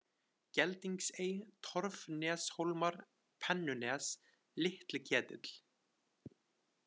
Geldingsey, Torfneshólmar, Pennunes, Litliketill